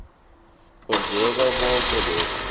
kwenzeka koke lokhu